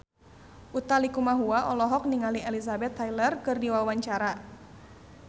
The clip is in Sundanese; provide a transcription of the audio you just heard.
Utha Likumahua olohok ningali Elizabeth Taylor keur diwawancara